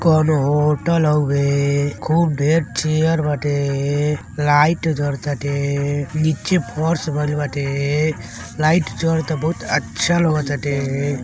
कउनो होटल हउए। खूब ढ़ेर चेयर बाटे। लाइट जडताटे नीचे फर्श बनल बाटे लाइट जरता बहुत अच्छा लागताटे।